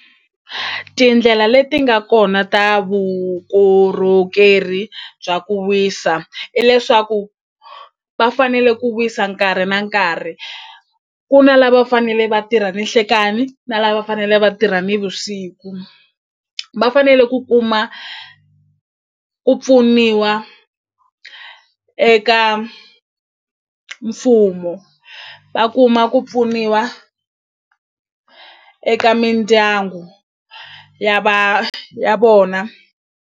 Tindlela leti nga kona ta vukorhokeri bya ku wisa i leswaku va fanele ku wisa nkarhi na nkarhi ku na lava fanele vatirha ninhlekani na lava fanele va tirha nivusiku va fanele ku kuma ku pfuniwa eka mfumo va kuma ku pfuniwa eka mindyangu ya ya vona.